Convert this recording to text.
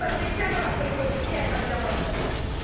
Allora smettiamola con l'ipocrisia e cambiamola, davvero!